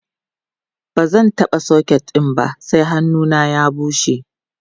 bazan taɓa socket ɗin ba sai hannuna ya bushe